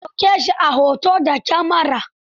An ɗauke shi a hoto da kyamara.